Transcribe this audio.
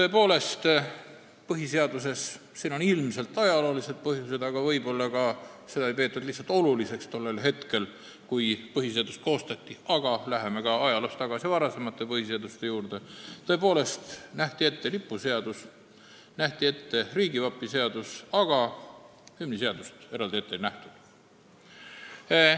Esmalt, põhiseaduses – siin on ilmselt ajaloolised põhjused, aga võib-olla ei peetud seda lihtsalt oluliseks tollel hetkel, kui põhiseadust koostati, aga saab ajaloos tagasi minna ka varasemate põhiseaduste juurde – tõepoolest nähti ette lipuseadus ja nähti ette riigivapi seadus, aga hümniseadust eraldi ette ei nähtud.